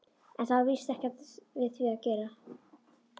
En það var víst ekkert við því að gera.